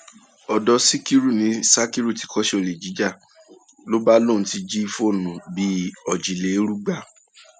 um ọdọ síkírù ni sakiru ti kọṣẹ olè jíjà ló bá lóun ti jí ti jí fóònù bíi um òjìlérúgba